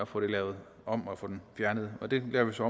få den lavet om og få den fjernet og det gør vi så